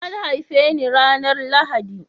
An haife ni ranar Lahadi